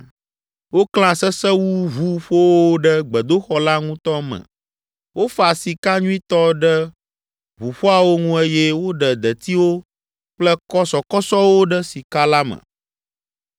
Woklã sesewuʋuƒowo ɖe gbedoxɔ la ŋutɔ me, wofa sika nyuitɔ ɖe ʋuƒoawo ŋu eye woɖe detiwo kple kɔsɔkɔsɔwo ɖe sika la me.